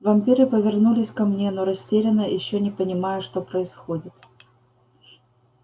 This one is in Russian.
вампиры повернулись ко мне но растерянно ещё не понимая что происходит